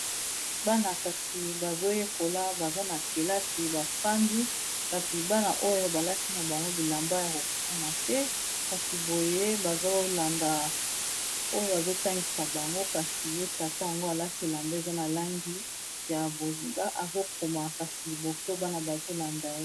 Bana kasi bazo yekola baza na kelasi ba fandi kasi bana oyo ba lati na bango bilamba ya ko kokana te, kasi boye bazo landa oyo azo tangisa bango. Kasi ye tata yango a lati elamba eza na langi ya bozenga azo koma kasi liboso bana bazo landa ye .